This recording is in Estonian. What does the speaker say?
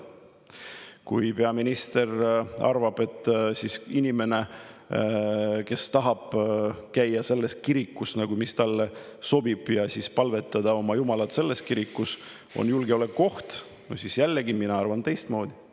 Kui peaminister arvab, et inimene, kes tahab käia selles kirikus, mis talle sobib, ja palvetada selles kirikus oma jumala poole, on julgeolekuoht, siis jällegi, mina arvan teistmoodi.